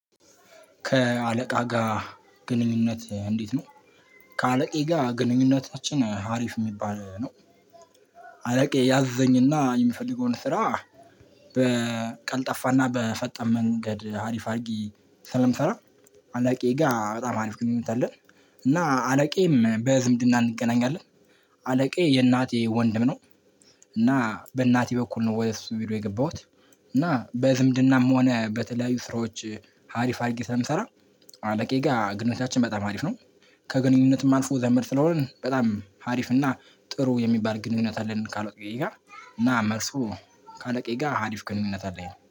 ከአለቃ ጋር ግንኙነት እንዴት ነው? ከአለቃየ ጋር ግንኙነታችን ሀሪፍ የሚባል ነው። አለቃየ ያዘኝና የምፈልገውን ስራ በቀልጠፋና በፈጣን መንገድ አሪፍ አድርጊ ስለምሰራ አለቃየ ጋር በጣም አሪፍ ግንኙነት አለን። እና አለቃየም በዝምድና እንገናኛለን አለቄ የእናቴ ወንድም ነው። እና በእናቴ በኩል ነው ወደ እሱ ቢሮ የገባሁት። እና በዝምድናም ሆነ በተለያዩ ስራዎች ሀሪፍ አድርጌ ስለምሰራ አለቃየ ጋር ግንኙነታችን በጣም አሪፍ ነው። ከግንኙነትም አልፎ ዘመድ ስለሆንን በጣም አሪፍ እና ጥሩ የሚባል ግንኙነት አለን ካለቃየ ጋር። እና መልሱ ካለቃየ ጋር ሀሪፍ ግንኙነት አለኝ